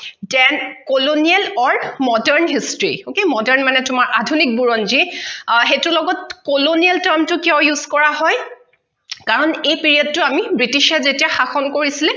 jen colonial or modern history okay modern মানে তোমাৰ আধুনিক বুৰঞ্জী অ সেইটো লগত colonial term কিয় use কৰা হয় কাৰণ এই period টো আমি british যেতিয়া শাসন কৰিছিলে